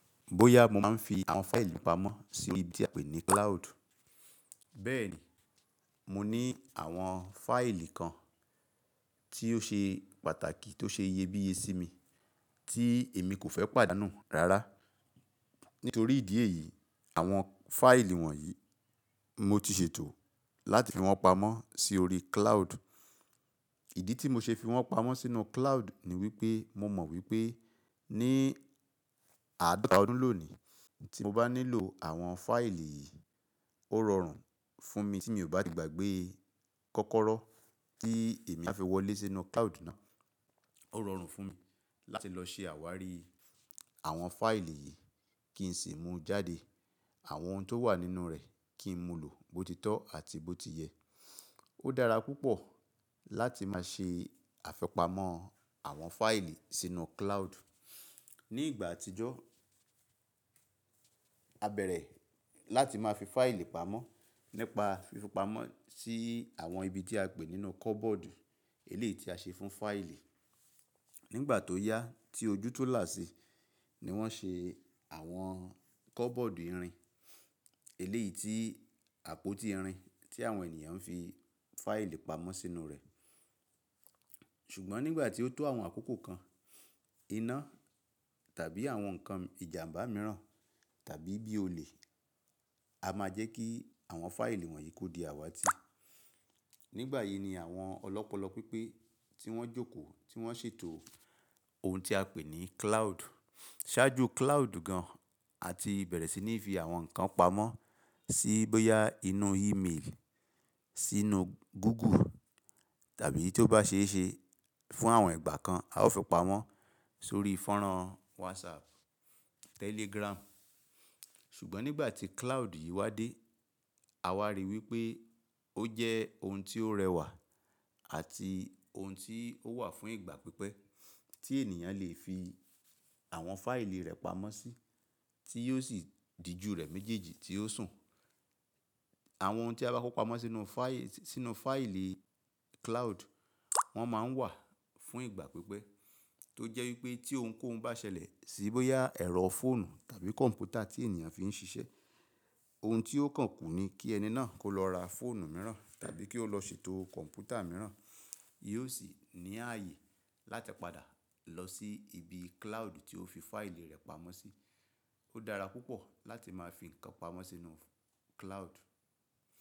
Bóyá mo máa ń fi àwọn fáìlì pamọ́ sí ibi tí a pè ní cloud. Bẹ́ẹ̀ni, mo ní àwọn fáìlì kan tí ó ṣe pàtàkì tó ṣe iyebíye sí mi tí èmi kò fẹ́ pàdé á nù rárá. Nítorí ìdí èyí, àwọn fáìlì wọ̀nyí mo ti ṣètò láti fi wọ́n pamọ́ sí orí cloud. Ìdí tí mo ṣe fi wọ́n pamọ́ sínú cloud ni wípé mo mọ̀ wípé ní àádọ́ta ọdún lónìí tí mo bá nílò àwọn fáìlì yìí, ó rọrùn fún mi tí mi ò bá ti gbàgbé kọ́kọ́rọ́ tí èmi á fi wọlé sínú cloud náà. Ó rọrùn fún mi láti lọ ṣe àwárí àwọn fáìlì yìí kí n sì mú jáde àwọn ohun tó wà nínú rẹ̀ kí n mú lò bó ti tọ́ àti bó ti yẹ. Ó dára púpọ̀ láti máa ṣe àfipamọ́ àwọn fáìlì sínú cloud. Ni ìgbà àtijọ́, a bẹ̀rẹ̀ láti máa fi fáìlì pamọ́ nípa fífi pamọ́ sí àwọn ibi tí a pè nínú kọ́bọ́ọ̀dù, eléyìí tí a ṣe fún fáìlì. Nígbà tó yá tí ojú tu là sí ni wọ́n ṣe àwọn kọ́bọ́ọ̀dù irin, eléyìí tí àpótí irin tí àwọn ènìyàn ń fi fáìlì pamọ́ sínú rẹ̀. Ṣùgbọ́n nígbà tí ó tó àwọn àkókò kan iná tàbí àwọn nǹkan ìjàmbá mìíràn tàbí bí olè, a máa jẹ́ kí àwọn fáìlì wọ̀nyí ko di àwatí. Nígbà yìí ni àwọn ọlọ́pọlọ pípé tí wọ́n jókòó tí wọ́n ṣètò ohun tí a pè ní cloud ṣáájú cloud gan àti bẹ̀rẹ̀ sí ní fi àwọn nǹkan pamọ́ sí bóyá inú email, sínú Google tàbí tí ó bá ṣe é ṣe fún àwọn ìgbà kan a ó fi pamọ́ sórí fọ́nrán WhatsApp, Telegram. Ṣùgbọ́n nígbà tí cloud yìí wá dé, a ríi wípé ó jẹ́ ohun tí ó rẹwà àti ohun tí ó wà fún ìgbà pípẹ́ tí ènìyàn lè fi àwọn fáìlì rẹ̀ pamọ́ sí tí yóò sì di ju rẹ̀ méjèèjì tí ó sùn. Àwọn ohun tí a bá kó pamọ́ sínú fáìlì, sínú fáìlì cloud, wọ́n máa ń wà fún ìgbà pípẹ́ tó jẹ́ wípé tí ohunkóhun bá ṣẹlẹ̀ sí bóyá ẹ̀rọ fóònù tàbí kọ̀m̀pútà tí ènìyàn fi ń ṣiṣẹ́, ohun tí ó kàn kún ni kí ẹni náà kó lọ ra fóònù mìíràn tàbí kí ó lọ ṣètò kọ̀m̀pútà mìíràn. Yóò sì ní ààyè láti padà lọ sí ibi cloud tí ó fi fáìlì rẹ̀ pamọ́ sí. Ó dára púpọ̀ láti máa fi nǹkan pamọ́ sínú cloud.